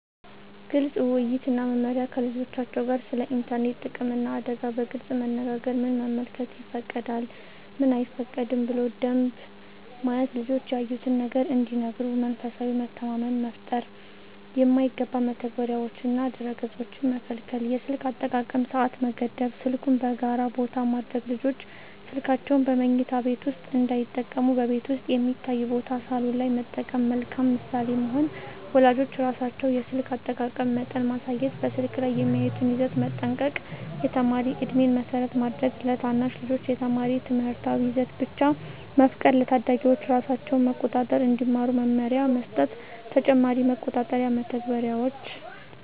ግልፅ ውይይት እና መመሪያ ከልጆቻቸው ጋር ስለ ኢንተርኔት ጥቅምና አደጋ በግልፅ መነጋገር ምን መመልከት ይፈቀዳል፣ ምን አይፈቀድም ብሎ ደንብ መያዝ ልጆች ያዩትን ነገር እንዲነግሩ መንፈሳዊ መተማመን መፍጠር የማይገባ መተግበሪያዎችንና ድረ-ገፆችን መከልከል የስልክ አጠቃቀም ሰዓት መገደብ ስልኩን በጋራ ቦታ ማድረግ ልጆች ስልካቸውን በመኝታ ቤት ውስጥ እንዳይጠቀሙ በቤት ውስጥ የሚታይ ቦታ (ሳሎን) ላይ መጠቀም መልካም ምሳሌ መሆን ወላጆች ራሳቸው የስልክ አጠቃቀም መጠን ማሳየት በስልክ ላይ የሚያዩትን ይዘት መጠንቀቅ የተማሪ ዕድሜን መሰረት ማድረግ ለታናሽ ልጆች የተማሪ ትምህርታዊ ይዘት ብቻ መፍቀድ ለታዳጊዎች ራሳቸውን መቆጣጠር እንዲማሩ መመሪያ መስጠት ተጨማሪ መቆጣጠሪያ መተግበሪያዎች